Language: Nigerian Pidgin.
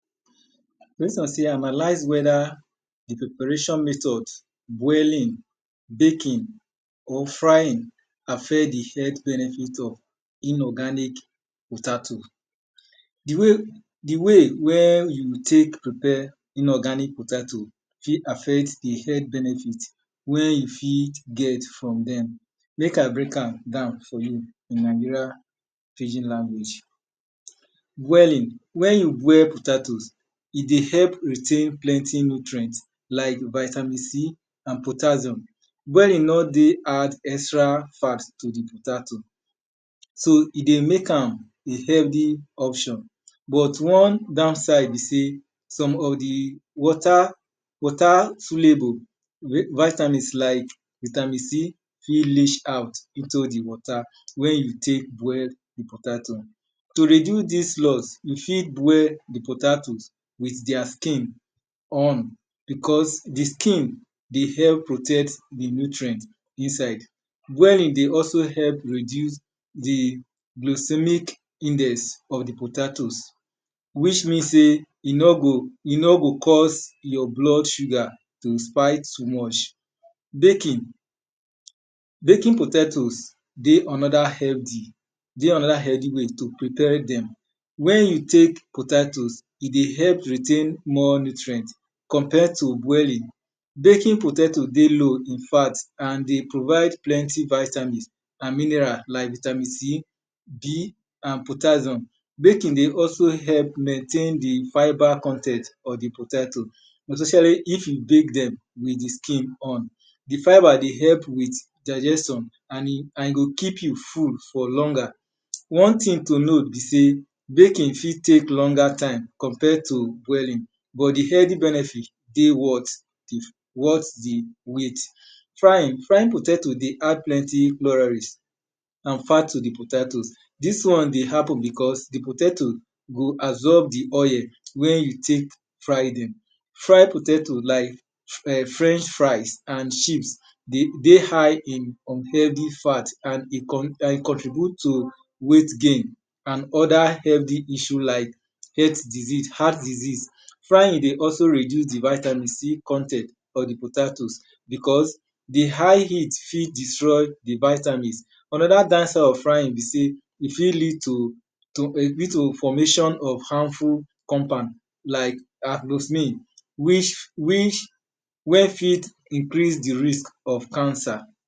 First of all analyze weda di preparation method boiling, baking or frying affect di healt benefit of inorganic potato. Di way wen we tek prepare inorganic potato fit affect di health benefit wey you fit get from dem. Mek I break am down for you in di Nigeria pidgin language. Boiling, wen you boil potato, e dey help retain plenty nutrient like vitamin c and potassium. Boiling no dey add extra fat to di potato. So e dey mek am a healthy option, but one downside be sey some of di water water fully go vitamin like vitamin C fit leash out nto di water wen you tek boil di potato. To reduce dis loss, y ou fit boil di potato with their skin because di skin dey help protect di nutrient inside. Boiling dey also help reduce di glosemic index of di potatoes which mean sey e no go cause yor blood sugar to spite much. Bakinging, baking potatoes dey anoda healthy way to prepare dem. Wen you tak potatoes, e dey help retain more nutrient compare to boiling. Baking potato dey low in fat and e dey provide plenty vitamins an minerals like vitamin C, B and potassium. Baking dey also help maintain di fibre con ten t of di potatoes especially if you bake dem with di skin on. Di fibre dey help with digestion and e go keep you full for longer. One thing to know be sey baking go tek much longer tie ompare to boiling but di healthy benefit dey worth di wait. Frying potato dey add plenty noraris and fat to di potatoes, dis one dey happen because di potato go absorb di oil wen you tek fry dem. Fried poytato like French fries and chips dey high in unhealthy fat and e contribut to wait gain and other health issue like health diseases, heart disease. Frying dey also reduce di vitamin C con ten t of di potato because di hight heat fit destroy di vitamins. Anoda bad side of frying be sey e fit lead to formation of harmful compound like aglophin which wen fit increase di risk of cancer.